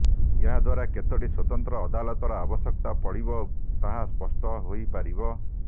ଏହା ଦ୍ୱାରା କେତୋଟି ସ୍ୱତନ୍ତ୍ର ଅଦାଲତର ଆବଶ୍ୟକତା ପଡ଼ିବ ତାହା ସ୍ପଷ୍ଟ ହୋଇପାରିବ